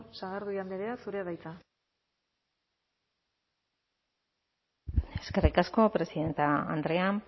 sagardui andrea zurea da hitza eskerrik asko presidente andrea